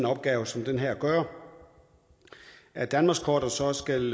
opgave som den her at gøre at danmarkskortet så også skal